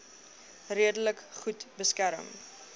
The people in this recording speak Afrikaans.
redelik goed beskerm